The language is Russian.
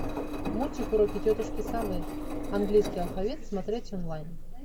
мультик уроки тетушки совы английский алфавит смотреть онлайн